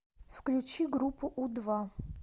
включи группу у два